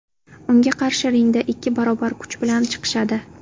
Unga qarshi ringga ikki barobar kuch bilan chiqishadi.